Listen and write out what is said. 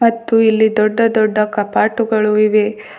ಮತ್ತು ಇಲ್ಲಿ ದೊಡ್ಡ ದೊಡ್ಡ ಕಪಾಟುಗಳು ಇವೆ.